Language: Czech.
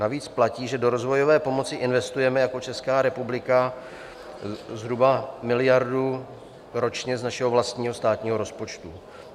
Navíc platí, že do rozvojové pomoci investujeme jako Česká republika zhruba miliardu ročně z našeho vlastního státního rozpočtu.